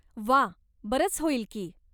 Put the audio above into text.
व्वा, बरंच होईल की.